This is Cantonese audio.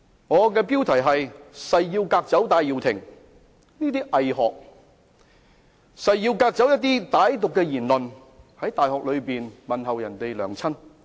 我誓要革走戴耀延的偽學，誓要革走歹毒言論，例如在大學內問候別人母親等。